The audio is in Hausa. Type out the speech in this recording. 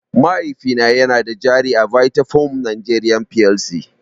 Mahaifina yana da jari a Vitafoam Nigeria Plc.